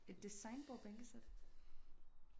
Et design bordbænkesæt